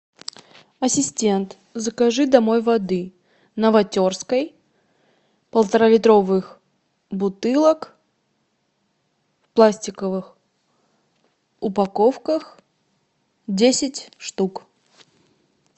ассистент закажи домой воды новотерской полторалитровых бутылок в пластиковых упаковках десять штук